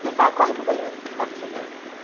Falei, pai, corre para o banheiro, vai para o chuveiro.